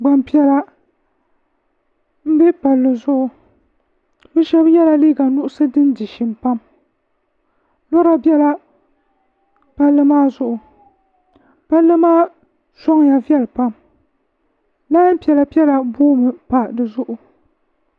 gbanpiɛla n bɛ palli zuɣu bi shab yɛla liiga nuɣsi din di shim pam lora biɛla palli maa zuɣu palli maa soŋya viɛli pam lain piɛla piɛla boomi pa dizuɣu